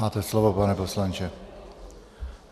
Máte slovo, pane poslanče.